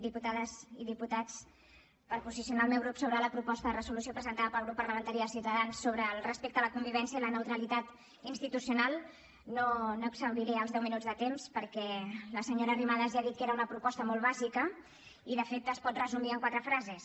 diputades i diputats per posicionar el meu grup sobre la proposta de resolució presentada pel grup parlamentari de ciutadans respecte a la convivència i a la neutralitat institucional no exhauriré els deu minuts de temps perquè la senyora arrimadas ja ha dit que era una proposta molt bàsica i de fet es pot resumir amb quatre frases